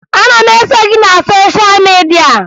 Ana m eso gị na sosha midia